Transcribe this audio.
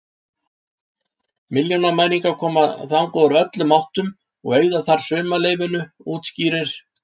Milljónamæringar koma þangað úr öllum áttum og eyða þar sumarleyfinu, útskýrir